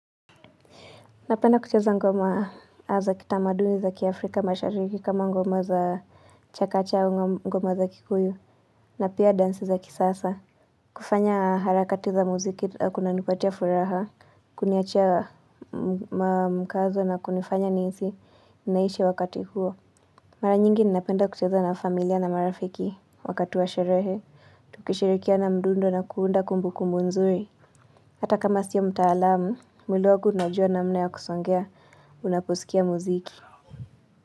Napenda kucheza ngoma za kitamaduni za kiafrika mashariki kama ngoma za chakacha au ngoma za kikuyu na pia dansi za kisasa. Kufanya harakati za muziki kunanipatia furaha, kuniachia mkazo na kunifanya nihisi, ninaishi wakati huo. Mara nyingi ninapenda kucheza na familia na marafiki wakati wa sherehe, tukishirikiana mdundo na kuunda kumbukumbu nzuri. Hata kama siyo mtaalamu, mwili wangu unajua namna ya kusongea unaposikia muziki.